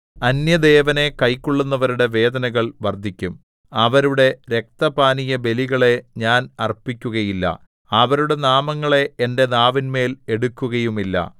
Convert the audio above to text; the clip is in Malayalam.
അന്യദേവനെ കൈക്കൊള്ളുന്നവരുടെ വേദനകൾ വർദ്ധിക്കും അവരുടെ രക്തപാനീയബലികളെ ഞാൻ അർപ്പിക്കുകയില്ല അവരുടെ നാമങ്ങളെ എന്റെ നാവിന്മേൽ എടുക്കുകയുമില്ല